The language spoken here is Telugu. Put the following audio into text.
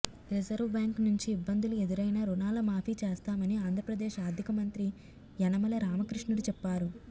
రిజర్వు బ్యాంక్ నుంచి ఇబ్బందులు ఎదురైనా రుణాల మాఫీ చేస్తామని ఆంధ్రప్రదేశ్ ఆర్థిక మంత్రి యనమల రామకృష్ణుడు చెప్పారు